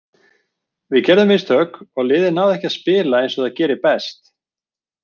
Við gerðum mistök og liðið náði ekki að spila eins og það gerir best.